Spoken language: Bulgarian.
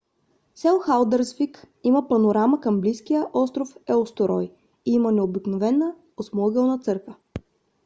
село халдарсвик има панорама към близкия остров еустурой и има необикновена осмоъгълна църква